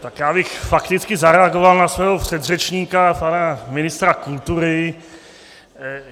Tak já bych fakticky zareagoval na svého předřečníka pana ministra kultury.